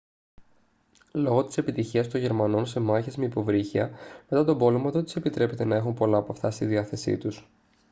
λόγω της επιτυχίας των γερμανών σε μάχες με υποβρύχια μετά τον πόλεμο δεν τους επιτρέπεται να έχουν πολλά από αυτά στη διάθεσή τους